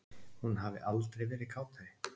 Hún hafi aldrei verið kátari